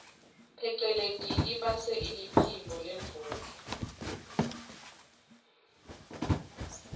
pheceleti ibase iliphimbo lendvodza